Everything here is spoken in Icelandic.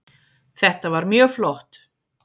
Þetta var mjög flott